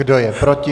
Kdo je proti?